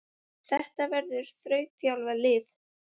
Þetta verður þrautþjálfað lið.